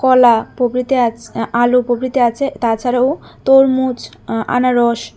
কলা প্রভৃতি আছে আলু প্রভৃতি আছে তাছাড়াও তরমুজ আ-আনারস--